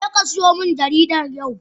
Jeka siyo min jaridar yau!